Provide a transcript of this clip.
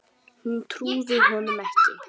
Hún trúði honum ekki.